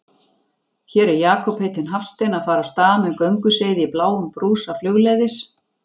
Hér er Jakob heitinn Hafstein að fara af stað með gönguseiði í bláum brúsa flugleiðis.